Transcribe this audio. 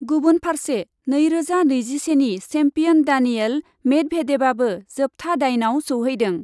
गुबुन फार्से नै रोजा नैजिसेनि सेम्पियन डानियेल मेडभेदेभआबो जोबथा दाइनआव सौहैदों ।